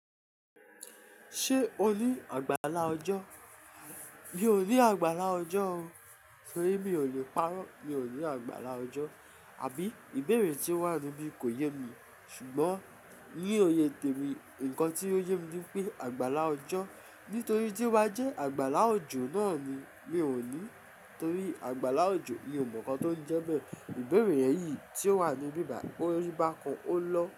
Ṣé o ní àgbàlá ọjọ́? Mi ò ní àgbàlá ọjọ́ o, torí mi ò lè parọ́. Mi ò ní àgbàlá ọjọ́, àbí ìbéèrè tí ó wà níbí kò yé mi. Ṣùgbọ́n ní òye tèmi, ǹkan tí ó yé mi ni pé àgbàlá ọjọ́, nítorí tí ó bá jẹ́ àgbàlá òjò náà ni mi ò ní. Torí àgbàlá òjò mi ò mọ̀ ǹkan tó ń jẹ́ bẹ́ẹ̀. Ìbéèrè yẹn yìí tí ó wà níbi ìbà bàyíi, ó ri bá kan ó lọ.